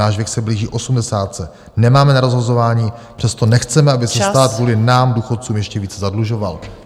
Náš věk se blíží osmdesátce, nemáme na rozhazování, přesto nechceme , aby se stát kvůli nám důchodcům ještě více zadlužoval.